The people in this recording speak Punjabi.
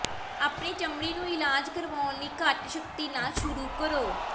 ਆਪਣੀ ਚਮੜੀ ਨੂੰ ਇਲਾਜ ਕਰਵਾਉਣ ਲਈ ਘੱਟ ਸ਼ਕਤੀ ਨਾਲ ਸ਼ੁਰੂ ਕਰੋ